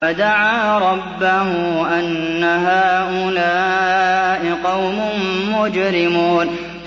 فَدَعَا رَبَّهُ أَنَّ هَٰؤُلَاءِ قَوْمٌ مُّجْرِمُونَ